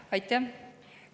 Aitäh!